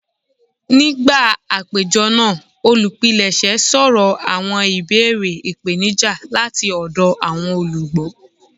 Nigba apejọ naa, olupilẹṣẹ sọrọ awọn ibeere ipenija lati ọdọ awọn olugbo.